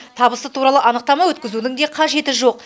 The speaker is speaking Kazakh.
табысы туралы анықтама өткізудің де қажеті жоқ